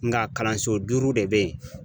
Nga kalanso duuru de be yen.